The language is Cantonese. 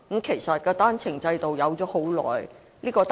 其實，單程證制度由來已久。